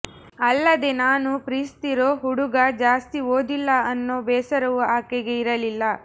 ಅಲ್ಲದೆ ನಾನು ಪ್ರೀತಿಸ್ತಿರೋ ಹುಡುಗ ಜಾಸ್ತಿ ಓದಿಲ್ಲ ಅನ್ನೋ ಬೇಸರವು ಆಕೆಗೆ ಇರಲಿಲ್ಲ